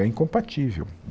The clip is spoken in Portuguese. É incompatível.